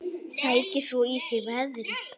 Sækir svo í sig veðrið.